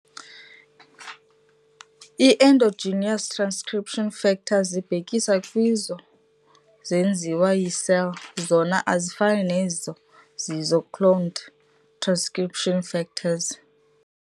I-endogenous transcription factors zibhekisa kwezo zenziwa yi-cell, zona azifani nezo zizii-cloned transcription factors.